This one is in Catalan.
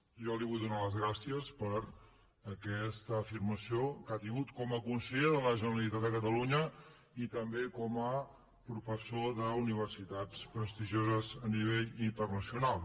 jo li vull donar les gràcies per aquesta afirmació que ha tingut com a conseller de la generalitat de catalunya i també com a professor d’universitats prestigioses a nivell internacional